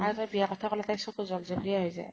আগতে বিয়াৰ কথা কলে তাইৰ চকু জল্জলীয়া হৈ যায়